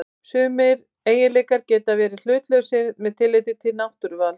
Sumir eiginleikar geta verið hlutlausir með tilliti til náttúruvals.